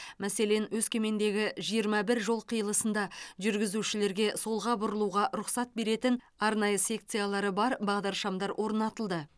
мәселен өскемендегі жиырма бір жол қиылысында жүргізушілерге солға бұрылуға рұқсат беретін арнайы секциялары бар бағдаршамдар орнатылды